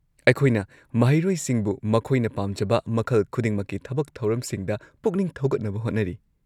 ꯑꯩꯈꯣꯏꯅ ꯃꯍꯩꯔꯣꯏꯁꯤꯡꯕꯨ ꯃꯈꯣꯏꯅ ꯄꯥꯝꯖꯕ ꯃꯈꯜ ꯈꯨꯗꯤꯡꯃꯛꯀꯤ ꯊꯕꯛ ꯊꯧꯔꯝꯁꯤꯡꯗ ꯄꯨꯛꯅꯤꯡ ꯊꯧꯒꯠꯅꯕ ꯍꯣꯠꯅꯔꯤ꯫